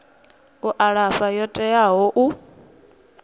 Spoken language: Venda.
u alafha yo teaho u